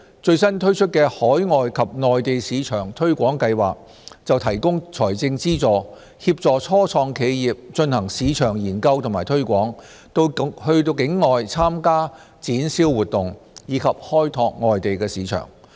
最新推出的"海外及內地市場推廣計劃"則提供財政資助，協助初創企業進行市場研究和推廣、到境外參加展銷活動，以及開拓外地市場。